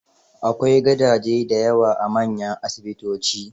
Akwai gadaje da yawa a manyan asibitoci.